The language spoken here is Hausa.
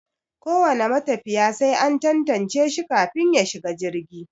Ko wane matafiya sai an tantance shi kafin ya shiga jirgi.